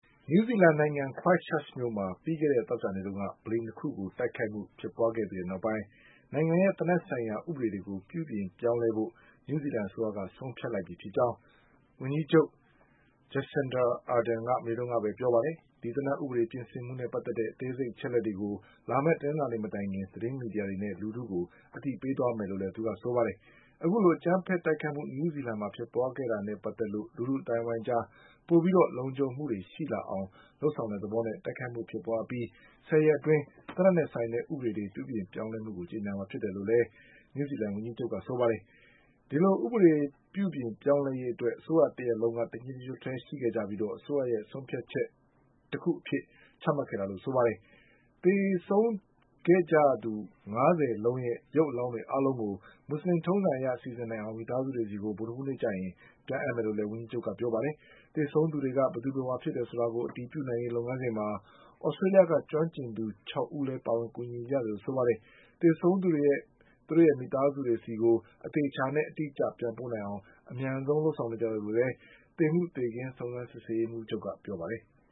နယူးဇီလန်နိုင်ငံ Christchurch မြို့မှာ ပြီးခဲ့တဲ့သောကြာနေ့တုန်းက ဗလီ၂ ခုကို တိုက်ခိုက်မှု ဖြစ်ပွါခဲ့ပြီးတဲ့နောက်ပိုင်း နိုင်ငံရဲ့ သေနတ်ဆိုင်ရာ ဥပဒေတွေကို ပြုပြင်ပြောင်းလဲဖို့ နယူးဇီလန် အစိုးရက ဆုံးဖြတ်လိုက်ပြီဖြစ်ကြောင်း ဝန်ကြီးချုပ် Jacinda Ardernက မနေ့ကပဲပြောပါတယ်။ ဒီသေနတ် ဥပေ ဒပြင်ဆင်မှုနဲ့ ပတ်သက်တဲ့ အသေးစိတ် အချက်အလက်တွေကို လာမယ့် တနင်္လာနေ့မတိုင်ခင် သတင်းမီဒီယာတွေနဲ့ လူထုကို အသိပေးသွားမယ်လို့လည်း ဆိုပါတယ်။ အခုလို အကြမ်းဖက် တိုက်ခိုက်မှု နယူးဇီလန်မှာ ဖြစ်ပွါးခဲ့တာနဲ့ ပတ်သက်လို့ လူထုအသိုင်းအဝိုင်း အကြား ပိုပြီးလုံခြုံမှုရှိလာအောင် လုပ်ဆောင်တဲ့ သဘောနဲ့ တိုက်ခိုက်မှုဖြစ်ပွါး အပြီး ဆယ်ရက်အတွင်း သေနတ်နဲ့ ဆိုင်တဲ့ ဥပဒေပြောင်းလဲမှုကို ကြေညာမှာ ဖြစ်တယ်လို့လည်း နယူးဇီလန် ဝန်ကြီးချုပ် Jacinda Ardern ကပြောပါတယ်။ ဒီလို ဥပဒေပြုပြင်ပြောင်းလဲရေး အတွက် အစိုးရတရပ်လုံးက တညီတညွတ်ထဲရှိပြီး အစိုးရရဲ့ ဆုံးဖြတ်ချက်တခု အဖြစ် ချမှတ်ခဲ့တာလို့လည်း ဆိုပါတယ်။ သေဆုံးခဲ့ရသူ ငါးဆယ်လုံးရဲ့ ရုပ်အလောင်းတွေ အားလုံးကို မူဆလင်ထုံးစံအရ စီစဉ်နိုင်အောင် မိသားစုတွေဆီကို ဗုဒ္ဓဟူးနေ့ကျရင် ပြန်အပ်မယ်လို့လည်း ဝန်ကြီးချုပ်က ပြောပါတယ်။ သေဆုံးသူတွေက ဘယ်သူဘယ်ဝါဖြစ်တယ် ဆိုတာကို အတည်ပြုနိုင်ရေး လုပ်ငန်းစဉ်မှာ သြစတေးလျှက ကျွမ်းကျင်သူ ၆ ဦးလည်း ပါဝင်ကူညီနေကြတယ်လို့ ဆိုပါတယ်။ သေဆုံးသူတွေကို သူတို့ရဲ့ မိသားစုတွေဆီကို အသေအချာနဲ့ အတိအကျ ပြန်ပို့နိုင်အောင် အမြန်ဆုံး လုပ်ဆောင်နေကြတယ် လို့လည်း သေမှုသေခင်း စုံစမ်းစစ်ဆေးရေးမှုးချုပ်က ပြောပါတယ်။